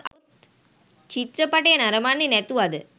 චිත්‍රපටය නරඹන්නේ නැතුවද?